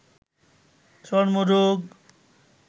চর্মরোগ